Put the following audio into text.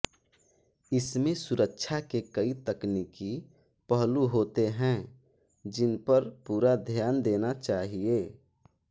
इसमें सुरक्षा के कई तकनिकी पहलु होते हैं जिनपर पूरा ध्यान देना चाहिए